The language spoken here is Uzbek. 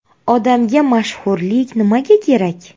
Odamga mashhurlik nimaga kerak?